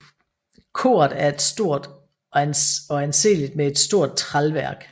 Koret er stort og anseeligt med et stort tralværk